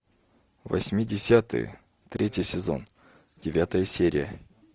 восьмидесятые третий сезон девятая серия